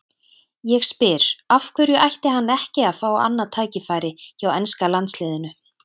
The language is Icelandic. Ég spyr: Af hverju ætti hann ekki að fá annað tækifæri hjá enska landsliðinu?